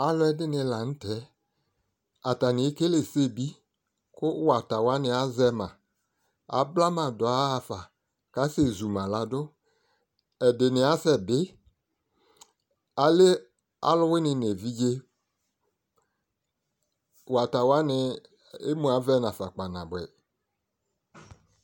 alo ɛdini lantɛ atani ekele ɛsɛ bi ko wata wani azɛ ma abla ma do ya ɣa fa ko asɛ zu ma lado ɛdini asɛ bi alɛ alowini no evidze wata wani emu avɛ no afa kpa naboɛ